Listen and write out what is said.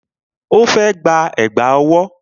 Ó fẹ́ gba Ẹ̀gbá ọwọ́